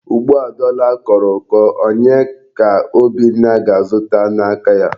Ugbu a dọla kọrọ ụkọ, onye ka Obinna ga-azụta n'aka ya?